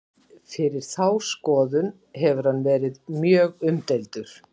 fyrir þá skoðun hefur hann verið mjög umdeildur